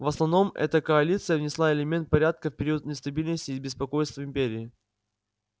в основном эта коалиция внесла элемент порядка в период нестабильности и беспокойств в империи